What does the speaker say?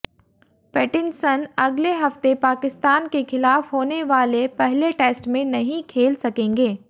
Pattinson अगले हफ्ते पाकिस्तान के खिलाफ होने वाले पहले टेस्ट में नहीं खेल सकेंगे